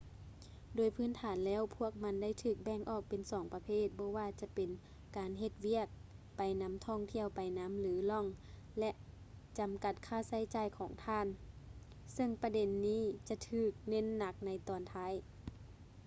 ໂດຍພື້ນຖານແລ້ວພວກມັນໄດ້ຖືກແບ່ງອອກເປັນສອງປະເພດ ບໍ່ວ່າຈະເປັນການເຮັດວຽກໄປນຳທ່ອງທ່ຽວໄປນຳ ຫຼື ລອງ ແລະ ຈຳກັດຄ່າໃຊ້ຈ່າຍຂອງທ່ານ ເຊິ່ງປະເດັນນີ້ຈະຖືກເນັ້ນໜັກໃນຕອນທ້າຍ